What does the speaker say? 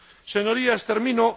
Señorías, termino.